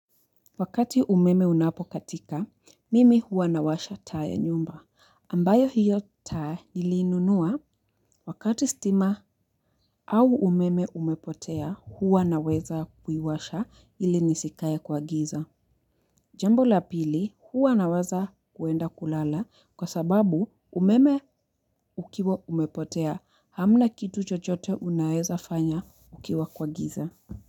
Wakati umeme unapokatika, mimi huwa nawasha taa nyumba. Ambayo hiyo taa niliinunua wakati stima au umeme umepotea huwa naweza kuiwasha ili nisikae kwa giza. Jambo la pili huwa nawaza kuenda kulala kwa sababu umeme ukiwa umepotea hamna kitu chochote unaeza fanya ukiwa kwa giza.